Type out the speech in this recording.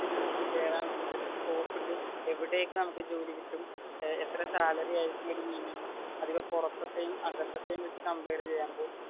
നമുക്ക് എന്തൊക്കെ ജോലിക്ക് കേറാം എന്തൊക്കെ സ്കോപ്പ് ഉണ്ട് എവിടെയൊക്കെ നമുക്ക് ജോലി കിട്ടും എത്ര സാലറി മിനിമം അധികം പുറത്തതും അകത്തേയും വെച്ച് കംപൈർ ചെയ്യുമ്പോൾ,